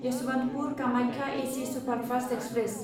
Yesvantpur Kamakhya AC superfast express